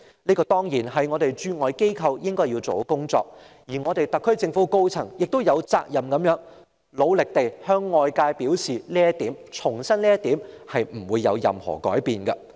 這當然是本港駐外機構應做的工作，而特區政府的高層亦有責任努力地向外界重申這方面是不會改變的。